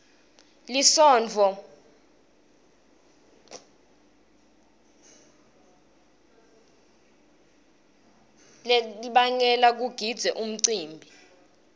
lisontfo litdbaneba gidzi emcimbini